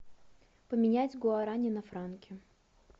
поменять гуарани на франки